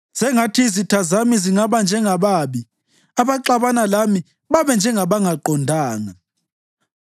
Sengathi izitha zami zingaba njengababi, abaxabana lami babe njengabangaqondanga!